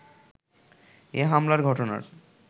এ হামলার ঘটনার